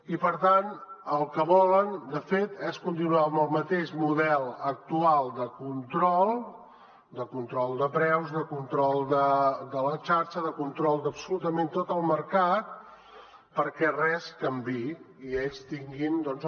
i per tant el que volen de fet és continuar amb el mateix model actual de control de control de preus de control de la xarxa de control d’absolutament tot el mercat perquè res canviï i ells tinguin doncs